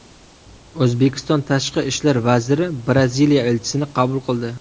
O‘zbekiston Tashqi ishlar vaziri Braziliya elchisini qabul qildi.